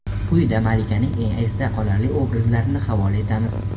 Quyida malikaning eng esda qolarli obrazlarini havola etamiz.